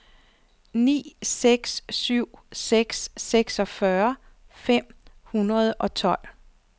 ni seks syv seks seksogfyrre fem hundrede og tolv